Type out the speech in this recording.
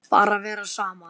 Bara vera saman.